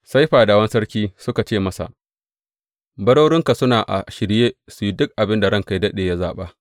Sai fadawan sarki suka ce masa, Barorinka suna a shirye su yi duk abin da ranka yă daɗe, ya zaɓa.